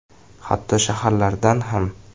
Hatto shaharlardan ham.